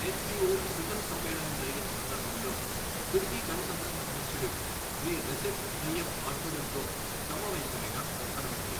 SEO శిఖర సమ్మేళనం జరిగిన సందర్భం లో తుర్కీ గణతంత్రం అధ్యక్షుడు శ్రీ రెసిప్ తయ్యప్అర్దోగన్ తో సమావేశమైన ప్రధాన మంత్రి